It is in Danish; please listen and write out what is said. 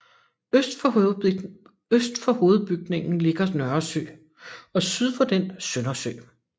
Øst for hovedbygningen ligger Nørresø og syd for den Søndersø